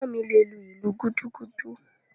Ẹ̀gbọ́n mi le lu “ìlú gúdúgúdú”.